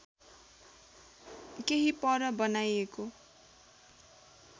केही पर बनाइएको